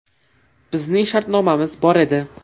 Bizning shartnomamiz bor edi.